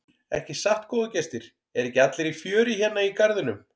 Ekki satt góðir gestir, eru ekki allir í fjöri hérna í garðinum?